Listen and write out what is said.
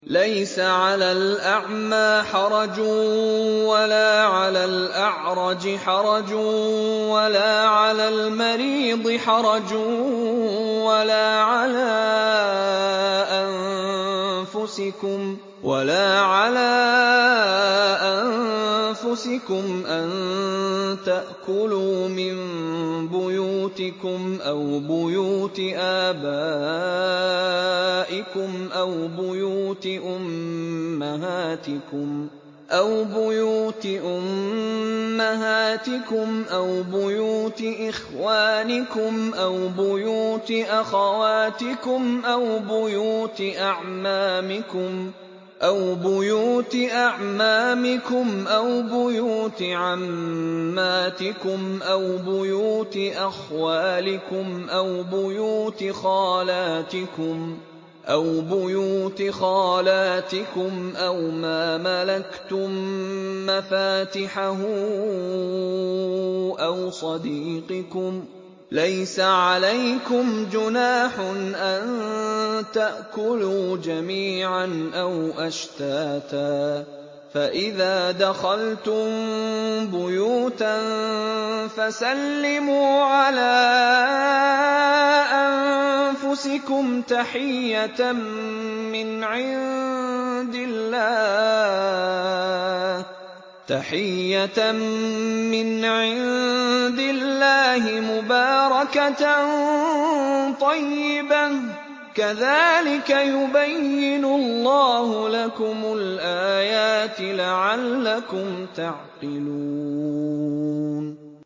لَّيْسَ عَلَى الْأَعْمَىٰ حَرَجٌ وَلَا عَلَى الْأَعْرَجِ حَرَجٌ وَلَا عَلَى الْمَرِيضِ حَرَجٌ وَلَا عَلَىٰ أَنفُسِكُمْ أَن تَأْكُلُوا مِن بُيُوتِكُمْ أَوْ بُيُوتِ آبَائِكُمْ أَوْ بُيُوتِ أُمَّهَاتِكُمْ أَوْ بُيُوتِ إِخْوَانِكُمْ أَوْ بُيُوتِ أَخَوَاتِكُمْ أَوْ بُيُوتِ أَعْمَامِكُمْ أَوْ بُيُوتِ عَمَّاتِكُمْ أَوْ بُيُوتِ أَخْوَالِكُمْ أَوْ بُيُوتِ خَالَاتِكُمْ أَوْ مَا مَلَكْتُم مَّفَاتِحَهُ أَوْ صَدِيقِكُمْ ۚ لَيْسَ عَلَيْكُمْ جُنَاحٌ أَن تَأْكُلُوا جَمِيعًا أَوْ أَشْتَاتًا ۚ فَإِذَا دَخَلْتُم بُيُوتًا فَسَلِّمُوا عَلَىٰ أَنفُسِكُمْ تَحِيَّةً مِّنْ عِندِ اللَّهِ مُبَارَكَةً طَيِّبَةً ۚ كَذَٰلِكَ يُبَيِّنُ اللَّهُ لَكُمُ الْآيَاتِ لَعَلَّكُمْ تَعْقِلُونَ